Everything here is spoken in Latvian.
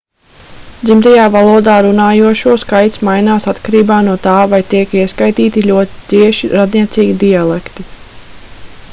dzimtajā valodā runājošo skaits mainās atkarībā no tā vai tiek ieskaitīti ļoti cieši radniecīgie dialekti